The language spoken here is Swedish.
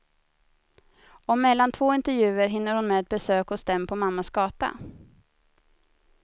Och mellan två intervjuer hinner hon med ett besök hos dem på mammas gata.